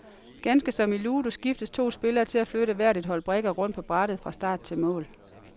Ganske som i ludo skiftes to spillere til at flytte hver et hold brikker rundt på brættet fra start til mål.